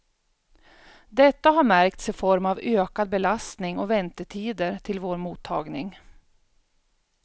Detta har märkts i form av ökad belastning och väntetider till vår mottagning.